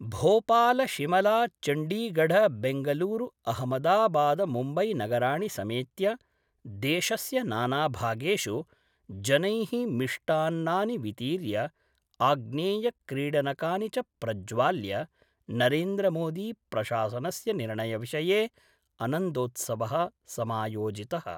भोपालशिमलाचण्डीगढबैंगलुरूअहमदाबादमुम्बैनगराणि समेत्य देशस्य नाना भागेषु जनै: मिष्टान्नानि वितीर्य आग्नेयक्रीडनकानि च प्रज्वाल्य नरेन्द्रमोदी प्रशासनस्य निर्णयविषये अनन्दोत्सवः समायोजितः।